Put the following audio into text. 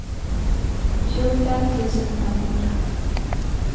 tjugofem tusen femhundra